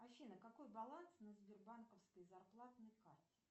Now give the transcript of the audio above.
афина какой баланс на сбербанковской зарплатной карте